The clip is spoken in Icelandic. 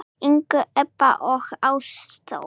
yngri Ebba og Ástþór.